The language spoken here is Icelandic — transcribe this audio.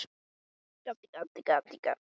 Hefur Landhelgisgæslan verið að aðstoða þá?